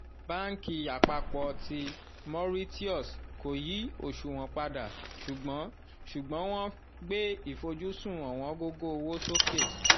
banki apapọ ti mauritius kò yí oṣuwọn padà ṣùgbọ́n ṣùgbọ́n wọ́n gbé ìfojúsùn owongogo owo sókè